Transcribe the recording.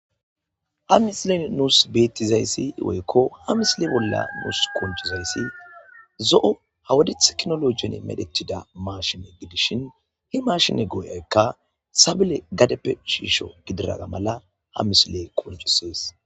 Ha misilen nuus bettizayssi woykko ha misile bolla nuus qoncizayssi zo7o ha wade tekinologiyan medhetida mashine gidishin he marshine go7aykka sabile gadeppe shiisho gididaga mala ha misile qoncisees